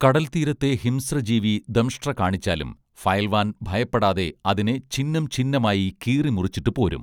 കടൽതീരത്തെ ഹിംസ്ര ജീവി ദംഷ്ട്ര കാണിച്ചാലും ഫയൽവാൻ ഭയപ്പെടാതെ അതിനെ ഛിന്നംഛിന്നമായി കീറി മുറിച്ചിട്ടു പോരും